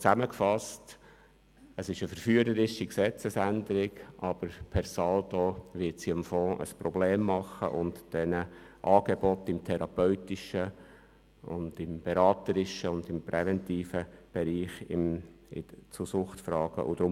Zusammengefasst: Es ist eine verführerische Gesetzesänderung, aber per saldo wird diese für den Fonds und die Angebote im therapeutischen, beraterischen und präventiven Bereich zu Suchtfragen ein Problem schaffen.